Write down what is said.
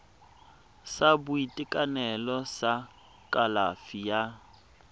sa boitekanelo sa kalafi ya